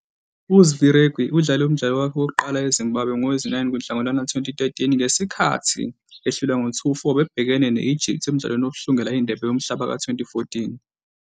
UZvirekwi udlale umdlalo wakhe wokuqala eZimbabwe ngowezi-9 kuNhlangulana 2013 ngesikhathi ehlulwa ngo- 2--4 bebhekene ne-Egypt emdlalweni wokuhlungela iNdebe yoMhlaba ka-2014.